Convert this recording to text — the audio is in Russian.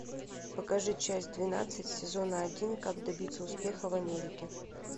покажи часть двенадцать сезона один как добиться успеха в америке